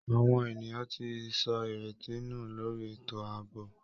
Àwọn ènìyàn ti sọ ìrètí nù lórí ètò ààbò